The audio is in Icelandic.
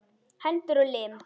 Hendur og lim.